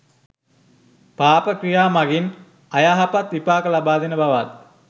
පාප ක්‍රියා මගින් අයහපත් විපාක ලබා දෙන බවත්